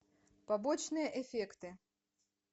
побочные эффекты